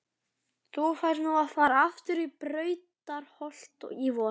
Þú færð nú að fara aftur í Brautarholt í vor.